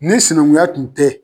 Ni sinankunya kun tɛ